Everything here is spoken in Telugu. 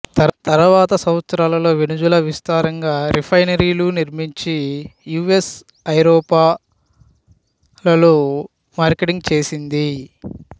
తరువాత సంవత్సరాలలో వెనుజులా విస్తారంగా రిఫైనరీలు నిర్మించి యు ఎస్ ఐరోపా లలో మార్కెటింగ్ చేసింది